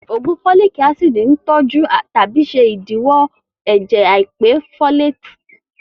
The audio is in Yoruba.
Ògùn fólìk ácìdì ń tọ́jú tàbí ṣe ìdíwọ́ ẹ̀jẹ̀ àìpé fólètì